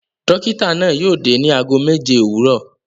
Dọ́kítá náà yóò dé ní ago méje òwúrọ̀.